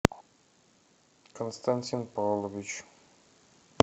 константин павлович